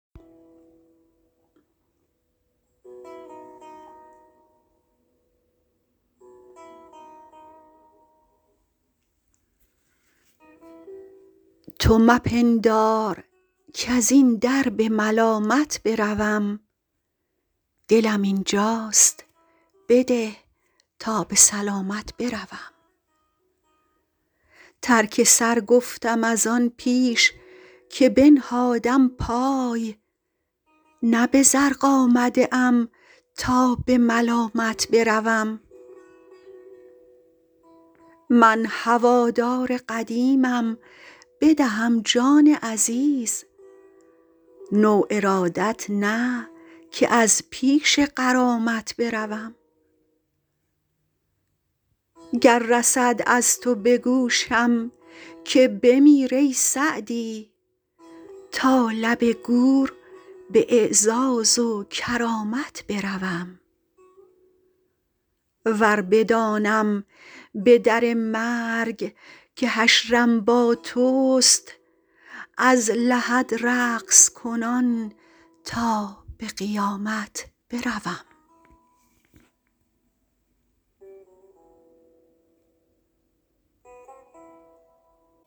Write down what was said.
تو مپندار کز این در به ملامت بروم دلم اینجاست بده تا به سلامت بروم ترک سر گفتم از آن پیش که بنهادم پای نه به زرق آمده ام تا به ملامت بروم من هوادار قدیمم بدهم جان عزیز نو ارادت نه که از پیش غرامت بروم گر رسد از تو به گوشم که بمیر ای سعدی تا لب گور به اعزاز و کرامت بروم ور بدانم به در مرگ که حشرم با توست از لحد رقص کنان تا به قیامت بروم